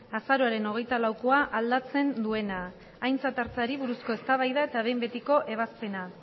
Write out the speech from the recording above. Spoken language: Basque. azaroaren hogeita laukoa aldatzen duena aintzat hartzeari buruzko eztabaida eta behin betiko ebazpena